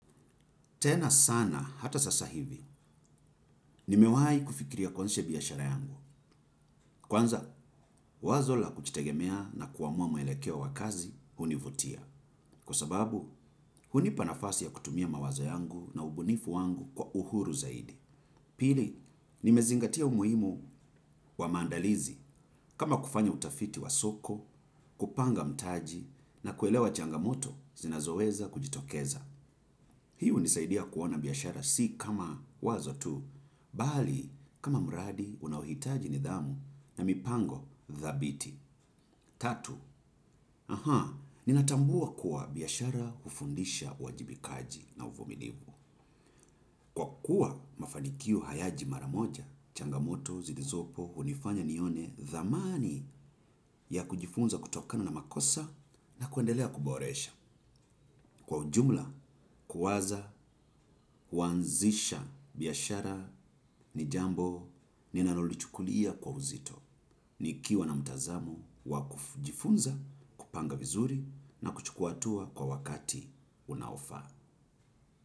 Tena sana, hata sasa hivi, nimewai kufikiria kwansiha biyashara yangu. Kwanza, wazo la kuchitegemea na kuamua meelekeo wa kazi, hunivutia. Kwa sababu, huni panafasi ya kutumia mawazo yangu na ubunifu wangu kwa uhuru zaidi. Pili, nimezingatia umuhimu wa maandalizi, kama kufanya utafiti wa soko, kupanga mtaji, na kuelewa changamoto, zinazoweza kujitokeza. Hiu nisaidia kuona biyashara si kama wazo tu, bali kama mradi unahitaji nidhamu na mipango dhabiti. Tatu, aha, ninatambua kuwa biyashara ufundisha wajibikaji na uvumilivu. Kwa kuwa mafanikio hayaji maramoja, changamoto zilizopo unifanya nione dhamani ya kujifunza kutokana na makosa na kuandelea kuboresha. Kwa ujumla, kuwaza, kuwanzisha, biyashara, ni jambo, ninalolichukulia kwa uzito. Nikiwa na mtazamo, wakujifunza, kupanga vizuri, na kuchukua hatua kwa wakati unaofaa.